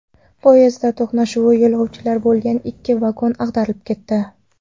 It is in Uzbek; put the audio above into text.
Poyezdlar to‘qnashuvida yo‘lovchilar bo‘lgan ikki vagon ag‘darilib ketdi.